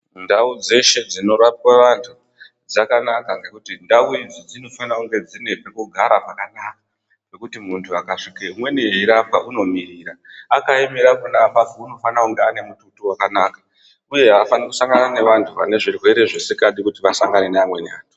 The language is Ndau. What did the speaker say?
Ndau dzeshe dzinorapwe antu dzakanaka ngekuti ndau idzi dzinofana kunge dzine pekugara pakanaka pekuti ukasvika muntu umweni eirapwa unomirira .Akaemera pona apapo unofana kunge anemututu wakanaka uye afanirwi kusangana nevantu vanezvirwere zvisikadi kuti vasangane neamweni antu .